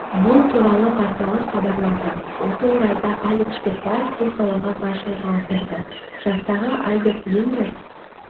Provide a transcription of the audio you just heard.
бұл туралы порталы хабарлады осы орайда алик шпекбаев бұл сауалға былайша жауап берді жастағы альберт линдер